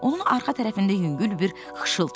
Onun arxa tərəfində yüngül bir xışıltı eşidildi.